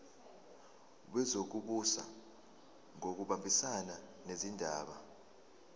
wezokubusa ngokubambisana nezindaba